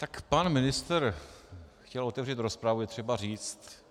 Tak pan ministr chtěl otevřít rozpravu, je třeba říct.